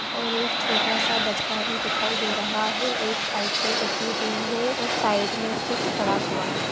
और एक छोटा सा बछड़ा भी दिखाई दे रहा है एक साइकिल रखी हुई है और साइड में कुछ पड़ा हुआ है।